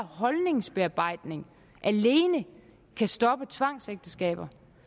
holdningsbearbejdning alene kan stoppe tvangsægteskaber